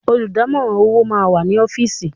Olùdámọ̀ràn owó máà wá sí ọ́fìsì.